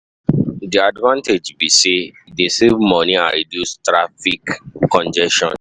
Di advantage be say, e dey save money and reduce traffic congestion.